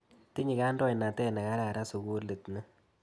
Tinye kandoinatet ne kararan sukulit ni.